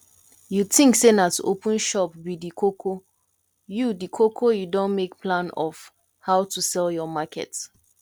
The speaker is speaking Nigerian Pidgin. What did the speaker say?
you think say na to open shop be the koko you the koko you don make plan of how to sell your market